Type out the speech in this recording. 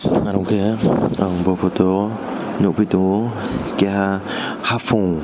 ang aw photo o nugji tongo kaisa having.